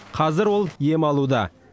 қазір ол ем алуда